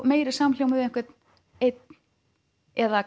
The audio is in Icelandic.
meiri samhljóm við einhvern einn eða